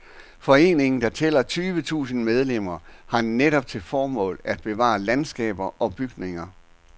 Foreningen, der tæller tyvetusinde medlemmer, har netop til formål at bevare landskaber og bygninger.